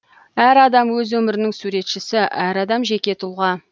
әр адам өз өмірінің суретшісі әр адам жеке тұлға